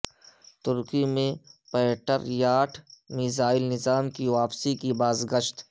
ترکی سے Patriot missile نظام کی واپسی کی باز گشت